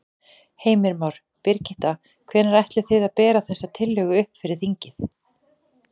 Heimir Már: Birgitta, hvenær ætlið þið að bera þessa tillögu upp fyrir þinginu?